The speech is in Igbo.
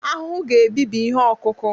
ahụhụ ga-ebibi ihe ọkụkụ